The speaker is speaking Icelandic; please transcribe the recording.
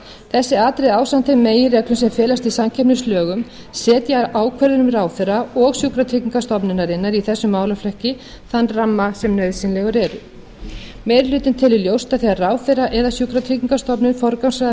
þessi atriði ásamt þeim meginreglum sem felast í samkeppnislögum setja ákvörðunum ráðherra og sjúkratryggingastofnunarinnar í þessum málaflokki þann ramma sem nauðsynlegur er meiri hlutinn telur ljóst að þegar ráðherra eða sjúkratryggingastofnun forgangsraða